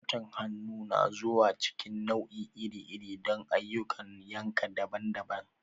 Zarton hannu na zuwa cikin nau'i iri-iri don ayyukan yanka daban-daban.